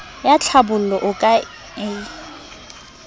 ya tlhabollo o ka e